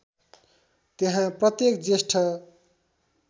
त्यहाँ प्रत्येक ज्येष्ठ